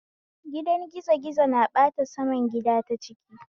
Gidan gizo gizo na bata saman gida ta ciki